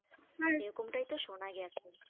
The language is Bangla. এরকম তাই তো সোনা গেছে